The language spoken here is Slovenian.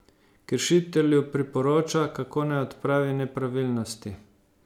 Kršitelju priporoča, kako naj odpravi nepravilnosti.